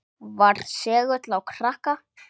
Var segull á krakka.